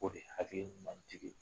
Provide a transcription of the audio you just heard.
Ko de ye hakili ɲuman jigin